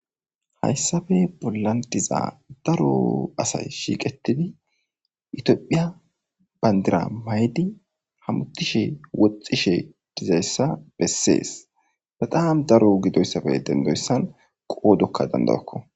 Hayssabe bollan diza daro asay shiiqetidi itiophiya bandira maydi hamutishe woxxishe dizayssa bessees baxaham daro gidoyssabe dendoyssan qoodokka dandawakko.